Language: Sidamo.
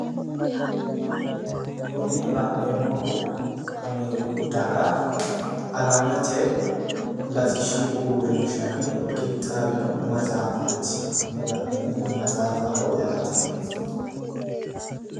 kuni la'neemmohu ameeriku daga alamete latishshi uurinshinni qixxaawino maxafaati kuni la'neemmohu maxaafaho yaate